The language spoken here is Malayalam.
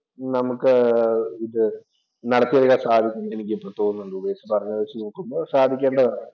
നമുക്ക് ഇത് നടത്തിയെടുക്കാൻ സാധിക്കും എന്ന് എനിക്ക് ഇപ്പോ തോന്നുന്നുണ്ട് ഉപേഷ് പറഞ്ഞത് വെച്ച് നോക്കുമ്പോൾ സാധിക്കേണ്ടതാണ്.